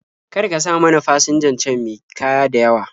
Kar ka sa mana fasinjan can me kaya da yawa.